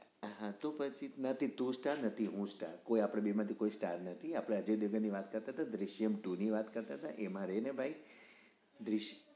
હા તું પછી નથી તું star નથી હું star આપડા બે માંથી કોઈ star નથી આપડે અજય દેવગન ની વાત કરતા હતા દૃશ્યમ two ની વાત કરતા હતા એમાં રે ને ભાઈ